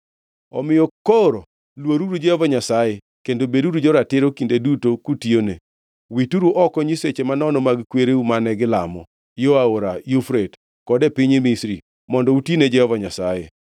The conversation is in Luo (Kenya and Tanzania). “Omiyo koro luoruru Jehova Nyasaye kendo beduru joratiro kinde duto kutiyone. Wituru oko nyiseche manono mag kwereu mane gilamo yo Aora Yufrate kod e piny Misri, mondo uti ne Jehova Nyasaye.